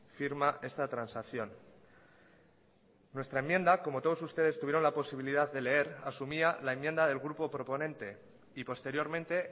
firma esta transacción nuestra enmienda como todos ustedes tuvieron la posibilidad de leer asumía la enmienda del grupo proponente y posteriormente